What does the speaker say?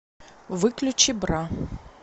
выключи бра